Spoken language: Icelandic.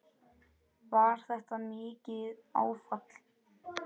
Var þetta mikið áfall?